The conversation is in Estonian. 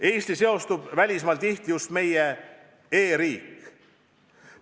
Eestiga seostub välismaal tihti just meie e-riik.